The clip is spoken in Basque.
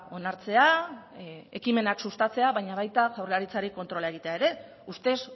onartzea ekimenak sustatzea baina baita jaurlaritzari kontrola egitea ere ustez